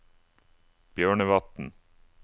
Bjørnevatn